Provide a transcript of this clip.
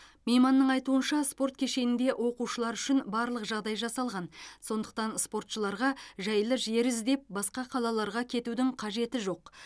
мейманның айтуынша спорт кешенінде оқушылар үшін барлық жағдай жасалған сондықтан спортшыларға жайлы жер іздеп басқа қалаларға кетудің қажеті жоқ